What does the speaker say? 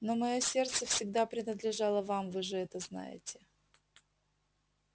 но моё сердце всегда принадлежало вам вы же это знаете